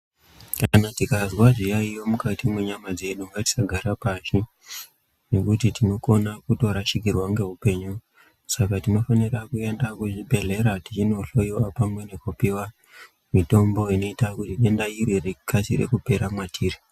Kana tikazwa zviyaiyo mukati menyama dzedu, ngatisagare pashi ngekuti tinokone kurashikirwa ngeupenyu, saka tinofanire kuenda kuzvibhedhlera techinohloyiwa pamwe nekupiwa mutombo inoita kuti denda iri rikase kupera mwatiri.